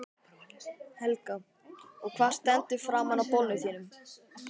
Helga: Og hvað stendur framan á bolnum þínum?